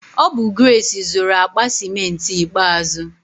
Ọ bụ Grace zụru akpa ciment ikpeazụ.